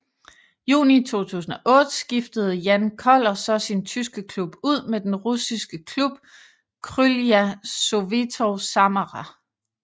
Juni 2008 skiftede Jan Koller så sin tyske klub ud med den russiske klub Krylya Sovetov Samara